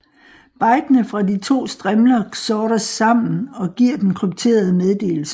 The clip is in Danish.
Bitene fra de to strimler XORes sammen og giver den krypterede meddelelse